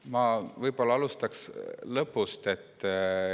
Ma alustaksin lõpust.